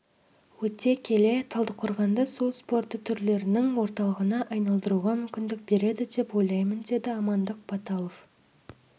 өте келе талдықорғанды су спорты түрлерінің орталығына айналдыруға мүмкіндік береді деп ойлаймын деді амандық баталов